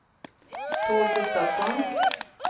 Tord Gustavsson